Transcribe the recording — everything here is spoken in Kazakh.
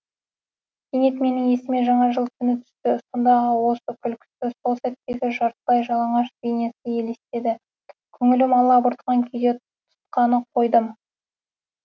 кенет менің есіме жаңа жыл түні түсті сондағы осы күлкісі сол сәттегі жартылай жалаңаш бейнесі елестеді көңілім алабұртқан күйде тұтқаны қойдым